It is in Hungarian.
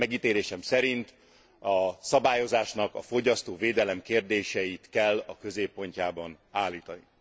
Megítélésem szerint a szabályozásnak a fogyasztóvédelem kérdéseit kell a középpontjában állítani.